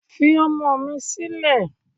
Fi ọmọ mi silẹ